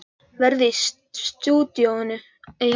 Verður í stúdíóinu í allt kvöld.